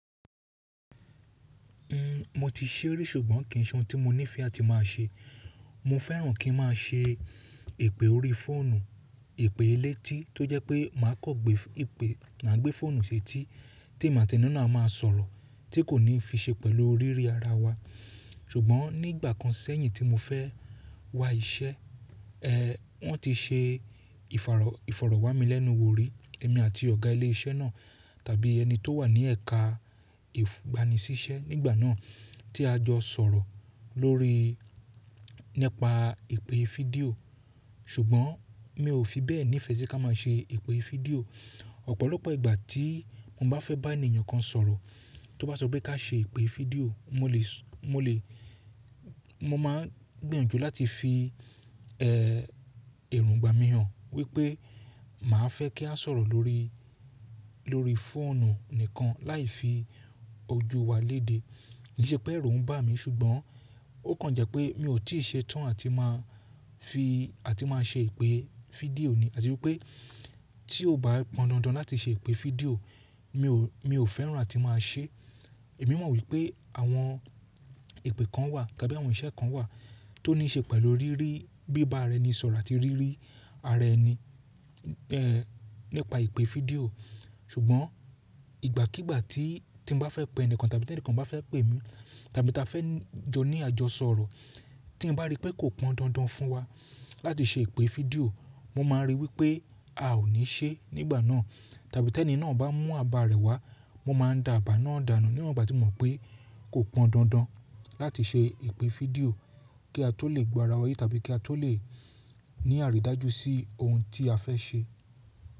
Mo ti ṣerí ṣùgbọ́n kì í ṣọ́n tí mo nífẹ̀ẹ́ àti máa ṣe. Mo fẹ́ràn kí n máa ṣe èpè órí fóònù, èpè elétí tó jẹ́ pé màá kọ gbé ìpè, má gbé fóònù ṣetí tí èmi àti ẹni náà máa sọ̀rọ̀ tí kò ní fí ṣe pẹ̀lú ríri ara wa. Ṣùgbọ́n nígbà kan sẹ́yìn tí mo fẹ́ wá iṣẹ́, wọ́n ti ṣe ìfàrọ, ìfọ̀rọ̀ wá mi lẹ́nu wò rí, èmi àti ọ̀gá ilé iṣẹ́ náà tàbí ẹni tó wà ní ẹ̀ka ìgbanisísẹ́ nígbà náà tí a jọ sọ̀rọ̀ lórí, nípa èpè fídíò. Ṣùgbọ́n mi ò fi bẹ́ẹ̀ nífẹ̀ẹ́ sí ká máa ṣe èpè fídíò. Ọ̀pọ̀lọpọ̀ ìgbà tí mo bá fẹ́ bá ènìyàn kan sọ̀rọ̀, tó bá sọ pé ká ṣe ipè fídíò, mo lè sọ, mo lè, mo máa gbìyànjú láti fi, èròngbà mi hàn wípé màá fẹ́ kí a sọ̀rọ̀ lórí, lórí fóònù nìkan láì fi ojú wa léde. Kì í ṣe pé ẹ̀rù ń bà mí ṣùgbọ́n ó kan jẹ́ pé mi ò tí ì ṣe tán àti máa fi, àti máa ṣe ipè fídíò ni. Àti wípé tí ó bá pọn dandan láti ṣe èpè fídíò, mi ò, mi ò fẹ́ràn àti máa ṣé. Èmi mọ̀ wípé àwọn ipè kan wà tàbí àwọn iṣẹ́ kan wà tó ní í ṣe pẹ̀lú riri bíi bá ara ẹni sọ̀rọ̀ àti ríri ara ẹni, nípa ipè fídíò. Ṣùgbọ́n ìgbàkígbà tí, tí n bá fẹ́ pe ẹnìkan tàbí tí ẹnìkan bá fẹ́ pè mí tàbí tí a fẹ́ jọ ní àjọsọ̀rọ̀, tí n bá rí pé kò pọn dandan fún wa láti ṣe ipè fídíò, mo máa rí wípé a ò ní ṣé nígbà náà. Tàbí tí ẹni náà bá mú àbá rẹ̀ wá, mo máa dá àbá náà dànù níwọ̀n ìgbà tí mo mọ̀ pé kò pọn dandan láti ṣe ipè fídíò kí a tó lè gbọ́ ara wa yé tàbí kí a tó lè ní àrídájú sí ohun tí a fẹ́ ṣe.